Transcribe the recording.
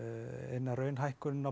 eina raun hækkunin